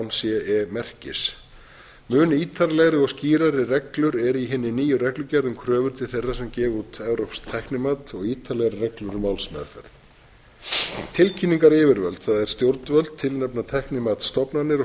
ce merkis mun ítarlegri og skýrari reglur eru í hinni nýju reglugerð um kröfur til þeirra sem gefa út evrópskt tæknimat og ítarlegri reglur um málsmeðferð tilkynningaryfirvöld það er stjórnvöld tilnefna tæknimatsstofnanir og